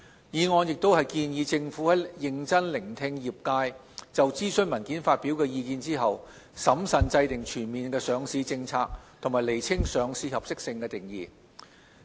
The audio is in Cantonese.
議案亦建議政府在認真聆聽業界就諮詢文件發表的意見後，審慎制訂全面的上市政策及釐清上市合適性的定義。